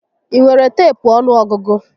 Ị nwere teepu ọnụọgụgụ?